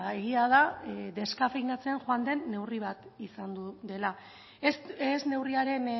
egia da deskafeinatzen joan den neurri bat izan dela ez neurriaren